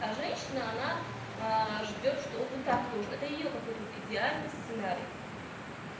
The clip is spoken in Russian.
а женщина она ждёт что он вот так должен это её какой-то вот идеальный сценарий